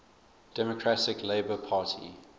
democratic labour party